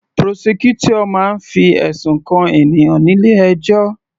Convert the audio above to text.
Prosecutor máa ń fi ẹ̀sùn kan ènìyàn nílé ẹjọ́